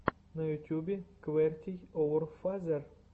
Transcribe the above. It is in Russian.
на ютюбе квертийоурфазер